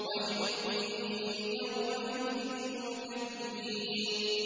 وَيْلٌ يَوْمَئِذٍ لِّلْمُكَذِّبِينَ